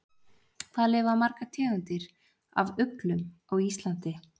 Hvað lifa margar tegundir af uglum á Íslandi?